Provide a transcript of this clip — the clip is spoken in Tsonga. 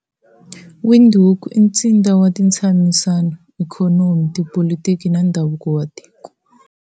Windhoek i ntsindza wa ntshamisano, ikhonomi, tipolitiki na ndhavuko wa tiko.